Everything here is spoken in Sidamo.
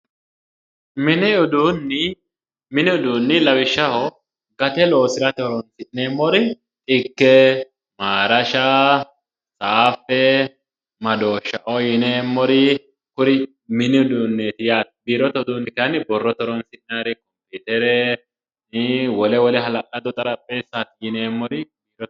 Mini uduuni, mini uduuni lawishshaho gate loosirate horonsi'neemmori maarasha ,saafe, madoosha yineemmori kuri mini uduuneti yaate, biirote uduuni kayinni borrote uduuneti ,biirote horonsi'nannire kompiutere wole wole hala'ladore xarapheza yineemmori